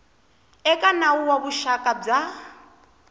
eka nawu wa vuxaka bya